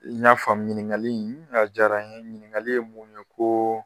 n y'a faamu ɲiniŋali in a diyara n ye, ɲiniŋakali ye mun ye koo